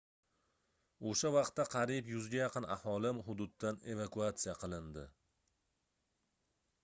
oʻsha vaqtda qariyb 100 ga yaqin aholi hududdan evakuatsiya qilindi